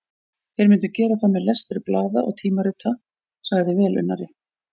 Þeir myndu gera það með lestri blaða og tímarita, sagði velunnari